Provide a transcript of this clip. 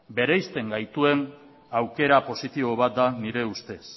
bereizten gaituen aukera positibo bat da nire ustez